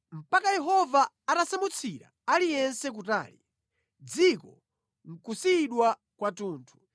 mpaka Yehova atasamutsira aliyense kutali, dziko nʼkusiyidwa kwathunthu.